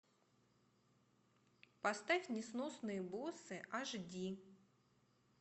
поставь несносные боссы аш ди